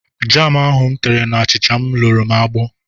Jam ahụ m tere n'achicha m luru m agbọ.